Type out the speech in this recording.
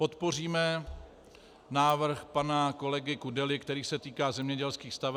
Podpoříme návrh pana kolegy Kudely, který se týká zemědělských staveb.